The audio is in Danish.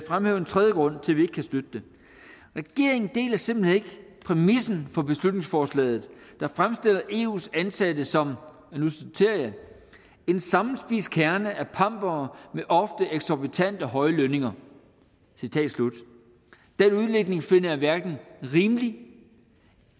fremhæve en tredje grund til at vi ikke kan støtte det regeringen deler simpelt hen ikke præmissen for beslutningsforslaget der fremstiller eus ansatte som og nu citerer jeg en sammenspist kerne af pampere med ofte eksorbitant høje lønninger citat slut den udlægning finder jeg hverken rimelig